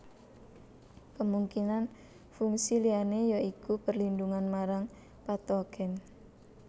Kemungkinan fungsi liyane ya iku perlindungan marang patogen